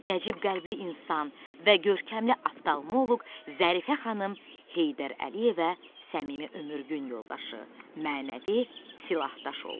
Nəcib qəlbli insan və görkəmli oftalmoloq Zərifə xanım Heydər Əliyevə səmimi ömür gün yoldaşı, mənəvi silahdaş oldu.